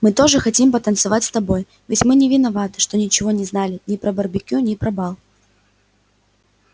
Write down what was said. мы тоже хотим потанцевать с тобой ведь мы не виноваты что ничего не знали ни про барбекю ни про бал